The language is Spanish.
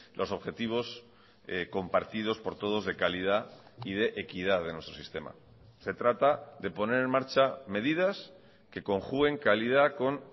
los objetivos compartidos por todos de calidad y de equidad de nuestro sistema se trata de poner en marcha medidas que conjuguen calidad con